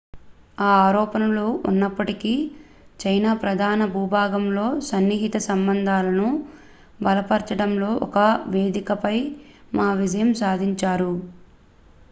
ఈ ఆరోపణలు ఉన్నప్పటికీ చైనా ప్రధాన భూభాగంతో సన్నిహిత సంబంధాలను బలపరిచడంలో ఒక వేదికపై మా విజయం సాధించారు